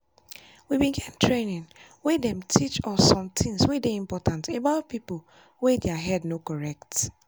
we bin get training wey them teach us how sometings wey dey important about people wey their head no correct.